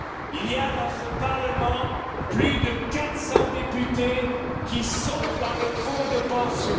Il y a dans ce Parlement plus de 400 députés qui sont dans le fonds de pension.